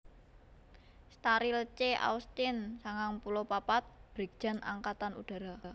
Staryl C Austin sangang puluh papat Brigjen Angkatan Udara